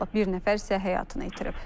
bir nəfər isə həyatını itirib.